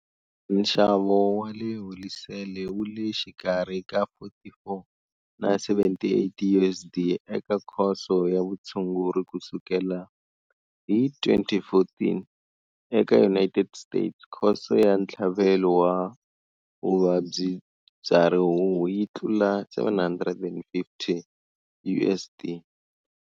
Nxavo wa le holisele wu le xikarhi ka 44 na 78 USD eka khoso ya vutshunguri kusukela hi 2014. Eka United States khoso ya ntlhavelo wa vuvabyi bya rihuhu yi tlula 750 USD.